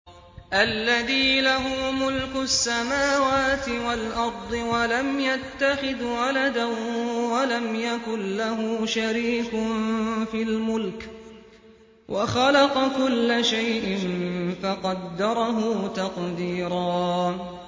الَّذِي لَهُ مُلْكُ السَّمَاوَاتِ وَالْأَرْضِ وَلَمْ يَتَّخِذْ وَلَدًا وَلَمْ يَكُن لَّهُ شَرِيكٌ فِي الْمُلْكِ وَخَلَقَ كُلَّ شَيْءٍ فَقَدَّرَهُ تَقْدِيرًا